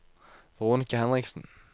Veronica Henriksen